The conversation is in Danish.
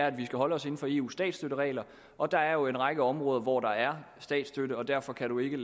at vi skal holde os inden for eus statsstøtteregler og der er jo en række områder hvor der er statsstøtte og derfor kan man ikke